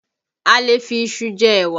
A lè fi iṣu jẹ́ ẹ̀wà